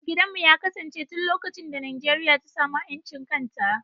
Gidanmu ya kasance tun lokacin da Najeriya ta samu 'yancin kan ta.